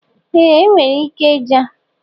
Ee inwere ike Jay.